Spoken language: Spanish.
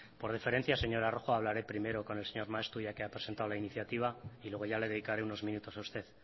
por deferencia señora rojo hablaré primero con el señor maeztu ya que ha presentado la iniciativa y luego ya le dedicaré unos minutos a usted